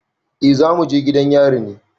Eh za mu je gidan yari ne.